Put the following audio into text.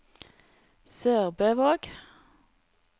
SørbØvåg